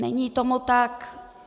Není tomu tak.